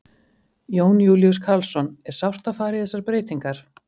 Jón Júlíus Karlsson: Er sárt að fara í þessar breytingar?